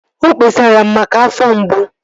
O kpesara m maka afọ mgbu